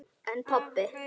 En pabbi?